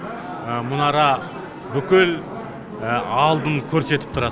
мұнара бүкіл алдын көрсетіп тұрады